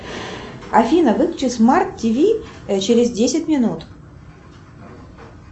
афина выключи смарт тиви через десять минут